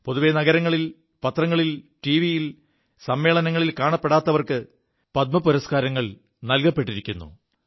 പൊതുവേ നഗരങ്ങളിൽ പത്രങ്ങളിൽ ടിവിയിൽ സമ്മേളനങ്ങളിൽ കാണപ്പെടാത്തവർക്ക് പദ്മപുരസ്കാരങ്ങൾ നൽകപ്പെിരിക്കുു